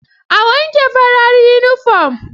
A wanke farar yunifom.